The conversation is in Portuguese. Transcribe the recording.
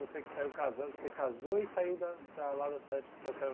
Você que saiu casada você casou e saiu da da lá da cidade que a senhora